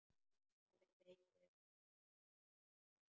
Palli hleypur inn í stofu.